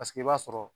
Paseke i b'a sɔrɔ